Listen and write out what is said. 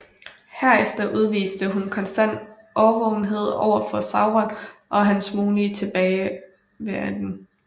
Herefter udviste hun konstant årvågenhed overfor Sauron og hans mulige tilbagevenden